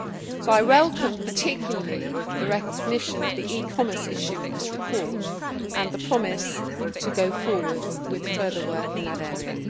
So I welcome particularly the recognition of the e commerce issue in this report and the promise to go forward with further work in that area.